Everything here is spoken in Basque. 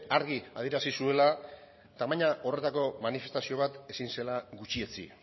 argi adierazi zuela tamaina horretako manifestazio bat ezin zela gutxietsi